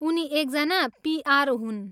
उनी एकजना पिआर हुन्।